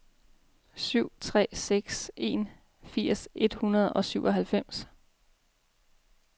syv tre seks en firs tre hundrede og syvoghalvfems